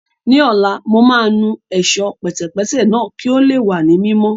Ní ọ̀la, mo máa nu Ẹ̀ṣọ́ pẹ̀tẹ̀pẹ́tẹ̀ náà kí ó lè wà ní mímọ́